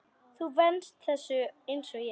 Þú venst þessu einsog ég.